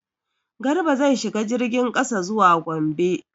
Garba zai shiga jirgin kasa zuwa Gombe.